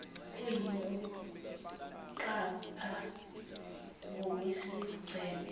kuyini ukuqapha ngokwesigceme